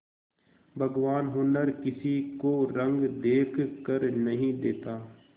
भगवान हुनर किसी को रंग देखकर नहीं देता